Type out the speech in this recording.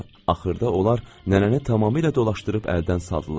Axırda onlar nənəni tamamilə dolaşdırıb əldən saldılar.